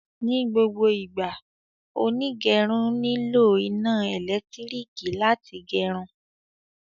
Ní gbogbo ìgbà, onígẹrun nílò iná elekitiriki láti gerun